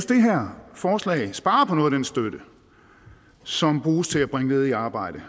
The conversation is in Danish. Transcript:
det her forslag sparer på noget af den støtte som bruges til at bringe ledige i arbejde